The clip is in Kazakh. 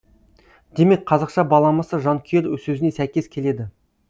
демек қазақша баламасы жанкүйер сөзіне сәйкес келеді